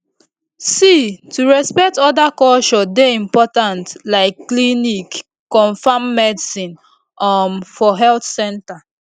see to respect oda culture dey important like clinic confam medicine um for health center